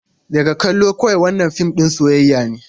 Daga kallo kawai, wannan fim ɗin soyayya ne.